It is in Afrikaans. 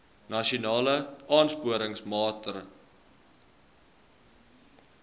nasionale aansporingsmaatre ls